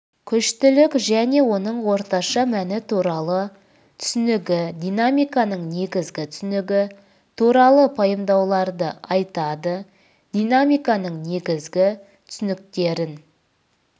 күштілік және оның орташа мәні туралы түсінігі динамиканың негізгі түсінігі туралы пайымдауларды айтады динамиканың негізгі түсініктерін